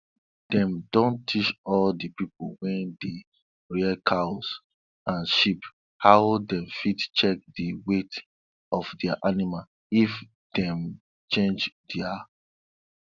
dem don teach all dis pipo wey dey rear cows and sheep how dem fit check di weight of their animal if dem change their